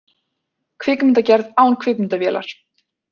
Kvikmyndagerð án kvikmyndavélar